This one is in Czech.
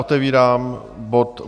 Otevírám bod